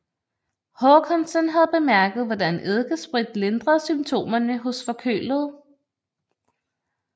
Håkansson havde bemærket hvordan eddikesprit lindrede symptomerne hos forkølede